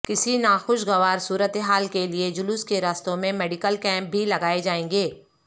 کسی ںاخوشگوار صورتحال کے لیے جلوس کے راستوں میں میڈیکل کیمپ بھی لگائے جائیں گے